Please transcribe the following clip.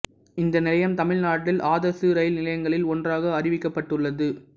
இந்த நிலையம் தமிழ்நாட்டில் ஆதர்சு இரயில் நிலையங்களில் ஒன்றாக அறிவிக்கப்பட்டுள்ளது